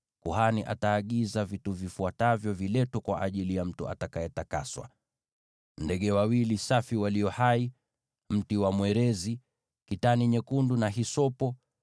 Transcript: kuhani ataagiza vitu vifuatavyo viletwe kwa ajili ya mtu atakayetakaswa: ndege wawili safi walio hai, mti wa mwerezi, kitani nyekundu, na hisopo.